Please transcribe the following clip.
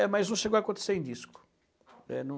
É, mas não chegou a acontecer em disco. É, não